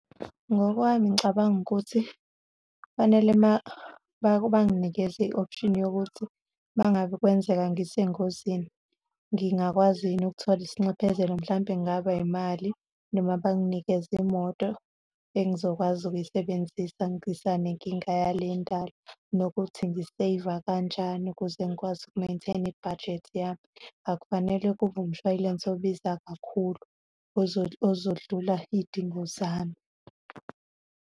Ngokwami ngicabanga ukuthi kufanele uma banginikeza i-option yokuthi uma ngabe kwenzeka ngisengozini, ngingakwazi yini ukuthola isinxephezelo, mhlampe kungaba yimali, noma banginikeze imoto engizokwazi ukuyisebenzisa ngisanenkinga yale endala, nokuthi ngi-save-a kanjani ukuze ngikwazi uku-maintain-a ibhajethi yami, akufanele kube umshwayilense obiza kakhulu ozodlula iy'dingo zami.